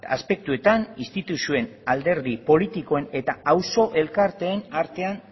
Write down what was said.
aspektuetan instituzioen alderdi politikoen eta auzo elkarteen artean